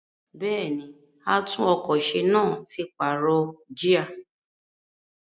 Bẹ́ẹ̀ni, àtún-ọkọ̀-se náà ti pààrọ̀ jíà.